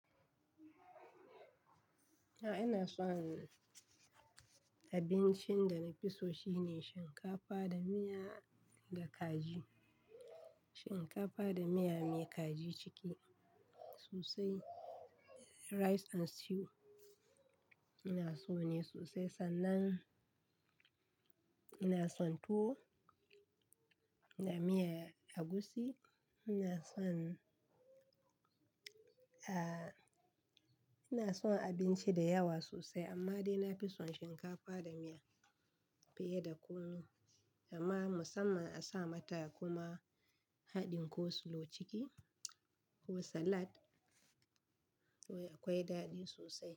A'a ina son abincin da na fi so shine shinkafa da miya da kaji. Shinkafa da miya mai kaji ciki sosai, rice and stew ina so ne sosai sannan ina son tuwo da miyan agushi. Ina son, a ina son abinci da yawa sosai amma dai na fi son shinkafa da miya fiye da kunu amma musamman a sa mata kuma haɗin kosilo ciki ko salad akwai daɗi sosai.